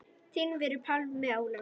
Þinn vinur, Pálmi Ólafur.